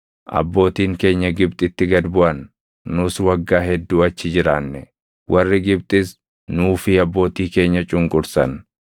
Abbootiin keenya Gibxitti gad buʼan; nus waggaa hedduu achi jiraanne. Warri Gibxis nuu fi abbootii keenya cunqursan;